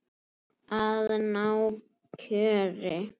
Að ná kjöri.